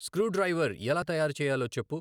screw driver ఎలా తయారు చేయాలో చెప్పు